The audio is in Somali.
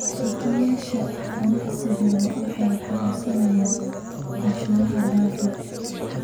Milkiilayaasha ganacsiyadu waxay codsanayaan cashuur dhaaf.